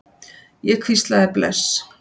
Ég hvíslaði bless.